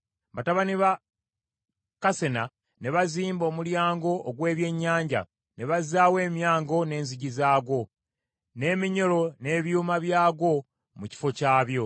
Batabani ba Kassena ne bazimba Omulyango ogw’Ebyennyanja, ne bazzaawo emyango n’enzigi zaagwo, n’eminyolo n’ebyuma byagwo mu kifo kyabyo.